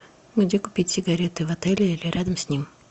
где купить сигареты в отеле или рядом с ним